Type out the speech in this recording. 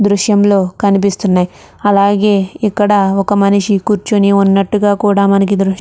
దృశ్యం లో కనిపిస్తునాయ్ అలాగే ఇక్కడ ఒక మనిషి కుర్చీని ఊన్నట్టుగా కూడా మనకి దృశ్ --